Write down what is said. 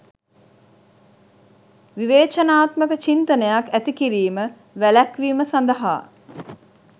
විවේචනාත්මක චින්තනයක් ඇති කිරීම වැළැක්වීම සඳහා